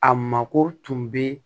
A mako tun bɛ